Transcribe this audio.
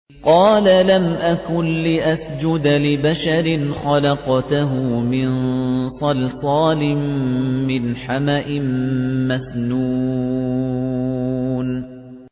قَالَ لَمْ أَكُن لِّأَسْجُدَ لِبَشَرٍ خَلَقْتَهُ مِن صَلْصَالٍ مِّنْ حَمَإٍ مَّسْنُونٍ